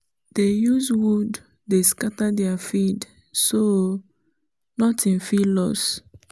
dey use wood dey scatter their feed so nothing fit loss